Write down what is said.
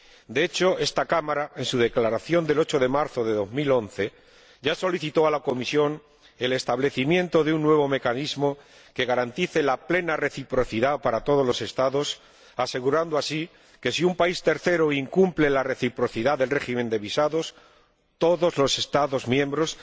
De hecho, esta Cámara, en su Declaración del 8 de marzo de 2011, ya solicitó a la Comisión el establecimiento de un nuevo mecanismo que garantizara la plena reciprocidad para todos los Estados, asegurando así que, si un país tercero incumple la reciprocidad del régimen de visados, todos los Estados miembros